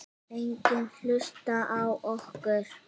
Enginn hlusta á okkur.